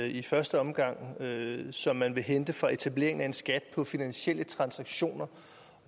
i første omgang som man vil hente fra etableringen af en skat på finansielle transaktioner